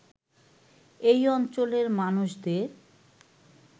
এই অঞ্চলের মানুষদের